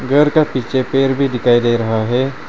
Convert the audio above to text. घर का पीछे पेड़ भी दिखाई दे रहा है।